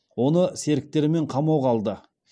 оны серіктерімен қамауға алды